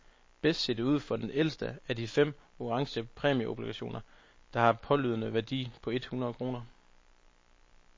Bedst ser det ud for den ældste af de fem orange præmieobligationer, der har en pålydende værdi på et hundrede kroner.